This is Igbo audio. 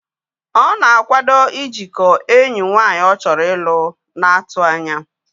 Ọ na-akwado ijikọọ enyi nwaanyị ọ chọrọ ịlụ n'atụanya